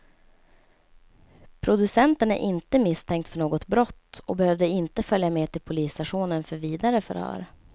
Producenten är inte misstänkt för något brott och behövde inte följa med till polisstationen för vidare förhör.